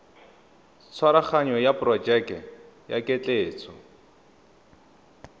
tshwaraganyo ya porojeke ya ketleetso